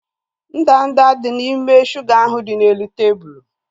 Ndanda dị n'ime shuga ahu dị n'elu tebụlu